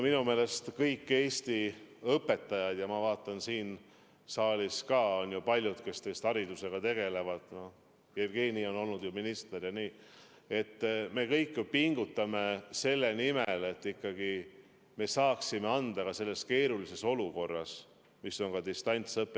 Minu meelest kõik Eesti õpetajad pingutavad ja ma näen, et siin saalis on ka palju neid, kes haridusega tegelevad –Jevgeni on olnud minister –, meie kõik ju pingutame selle nimel, et me saaksime ikkagi anda hea hariduse ka selles keerulises olukorras, mis tuleneb distantsõppest.